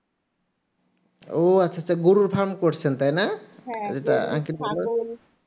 ও আচ্ছা আচ্ছা গরুর farm করছেন তাই না এটা কিন্তু